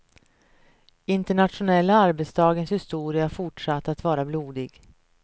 Internationella arbetardagens historia fortsatte att vara blodig.